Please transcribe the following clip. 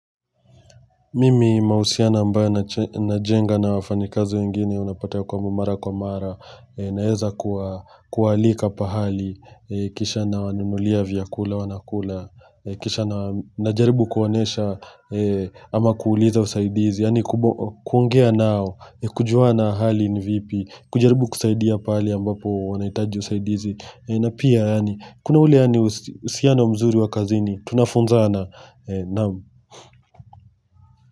Mimi mahusiano ambayo najenga na wafanyikazi wengine unapata kwamba mara kwa mara naeza kualika pahali kisha nawanulia vyakula wanakula kisha na najaribu kuwaonesha ama kuuliza usaidizi yaani kuongea nao na kujua na hali ni vipi kujaribu kusaidia pahali ambapo wanaitaji usaidizi na pia yaani kuna ule yaani uhusiano mzuri wa kazini tunafunzana naam.